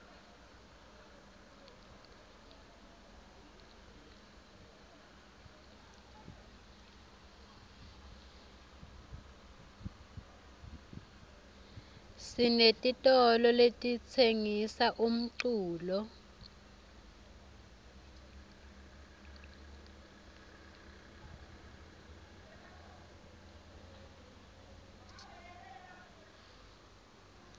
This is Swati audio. sinetitolo letitsengisa umculo